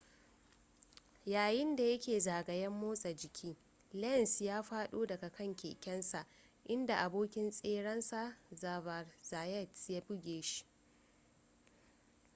yayin da ya ke zagayen motsa jiki lenz ya faɗo daga kan kekensa inda abokin tserensa xavier zayat ya buge shi